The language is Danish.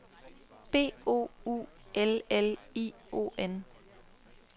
B O U L L I O N